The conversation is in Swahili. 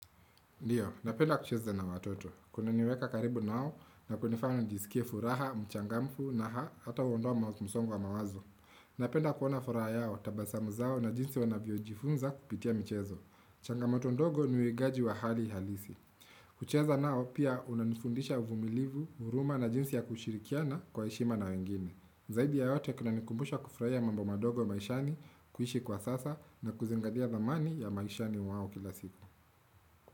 Ndiyo, napenda kucheza na watoto. Kunaniweka karibu nao na kunifana nijisikie furaha, mchangamfu na hata uondoa msongo wa mawazo. Napenda kuona furaha yao, tabasamu zao na jinsi wanavyojifunza kupitia mchezo. Changamoto ndogo niwegaji wa hali halisi. Kuchezza nao pia unanifundisha uvumilivu, huruma na jinsi ya kushirikiana kwa ishima na wengine. Zaidi yaote kina nikumbusha kufraia mambu madogo maishani kuishi kwa sasa na kuzingadia zamani ya maishani wao kila siku.